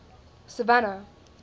savannah